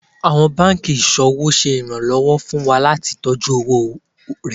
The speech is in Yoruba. Àwọn banki iṣowo ṣe ìrànlọ́wọ́ fún wa láti tọjú owó rẹ.